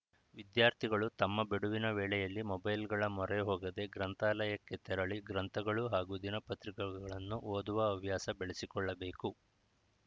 ವಿದ್ಯಾರ್ಥಿಗಳು ತಮ್ಮ ಬಿಡುವಿನ ವೇಳೆಯಲ್ಲಿ ಮೊಬೈಲ್‌ಗಳ ಮೊರೆ ಹೋಗದೇ ಗ್ರಂಥಾಲಯಕ್ಕೆ ತೆರಳಿ ಗ್ರಂಥಗಳು ಹಾಗೂ ದಿನಪತ್ರಿಕೆಗಳನ್ನು ಓದುವ ಹವ್ಯಾಸ ಬೆಳೆಸಿಕೊಳ್ಳಬೇಕು